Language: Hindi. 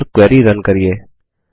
और क्वेरी रन करिये